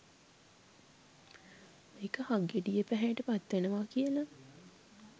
මේක හක්ගෙඩියේ පැහැයට පත්වෙනවා කියල.